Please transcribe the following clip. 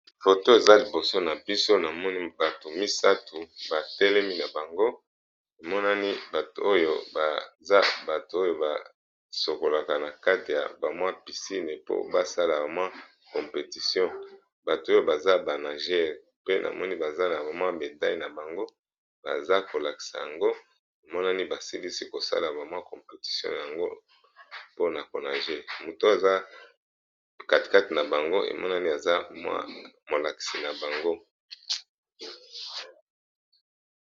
foto eza liboso na biso na moni bato misato batelemi na bango emonani bato oyo baza bato oyo basokolaka na kate ya bamwa pisine po basala bamwi competition bato oyo baza banagere pe na moni baza na bamwa medaile na bango baza kolakisa yango emonani basilisi kosala bamwi competition yango mpona konaje moto aza katekate na bango emonani aza mwa molakisi na bango